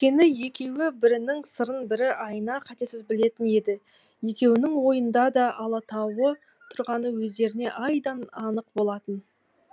өйткені екеуі бірінің сырын бірі айна қатесіз білетін еді екеуінің ойында да алатауы тұрғаны өздеріне айдан анық болатын